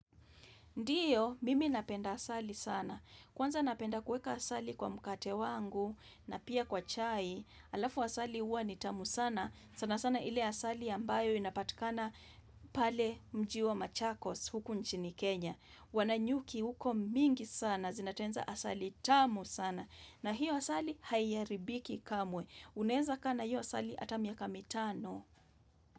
Ndiyo, mimi napenda asali sana. Kwanza napenda kuueka asali kwa mkate wangu na pia kwa chai, alafu asali huwa ni tamu sana. Sana sana ile asali ambayo inapatikana pale mji wa machakos huku nchini Kenya. Wana nyuki huko mingi sana, zinatengeneza asali tamu sana. Na hiyo asali haiharibiki kamwe. Unaezakaa na hiyo asali ata miaka mitano.